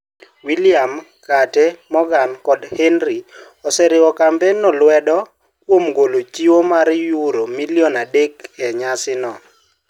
William, Kate, Meghan, kod Harry oseriwo kampenno lwedo kuom golo chiwo mar yuro milion andek e nyasi no.